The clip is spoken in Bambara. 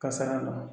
Kasara la